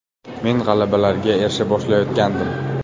Men g‘alabalarga erisha boshlayotgandim.